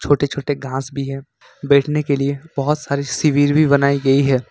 छोटे-छोटे घास भी है बैठने के लिए बहोत सारे शिविर बनाई गई है।